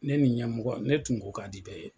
Ne ni ɲɛmɔgɔ wa ne tun ko ka di bɛɛ ye.